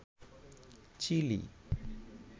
chilli